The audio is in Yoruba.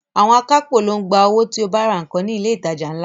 Àwọn akápò ló ń gba owó tí o bá ra nǹkan ní ilé ìtajà ńlá